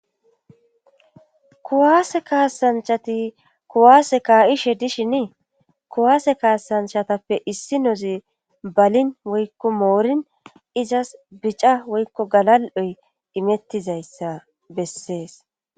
kuwaase kaasanchati kuwaase kaa7ishe dishinii kuwaase kaasanchatappe issi nozi balin woykko moorin izas bica woykko galal7oy imettizayssa bessees